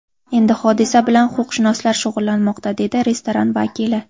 Endi hodisa bilan huquqshunoslar shug‘ullanmoqda, dedi restoran vakili.